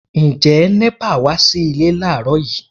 Ǹjẹ́ NEPA wá sí ilé láàrọ́ yìí?